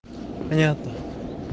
понятно